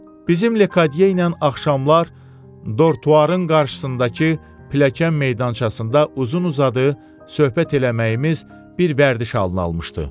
Bizim Lekqadiya ilə axşamlar dortuarın qarşısındakı pilləkən meydançasında uzun-uzadı söhbət eləməyimiz bir vərdiş halını almışdı.